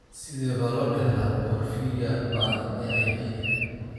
Sidee baa loo dhaxlaa porphyria ba'an (AIP)?